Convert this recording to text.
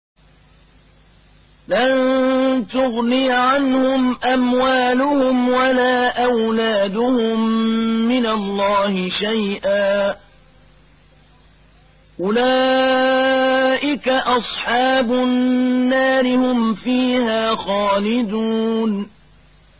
لَّن تُغْنِيَ عَنْهُمْ أَمْوَالُهُمْ وَلَا أَوْلَادُهُم مِّنَ اللَّهِ شَيْئًا ۚ أُولَٰئِكَ أَصْحَابُ النَّارِ ۖ هُمْ فِيهَا خَالِدُونَ